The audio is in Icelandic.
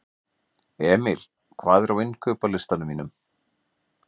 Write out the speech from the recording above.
Emil, hvað er á innkaupalistanum mínum?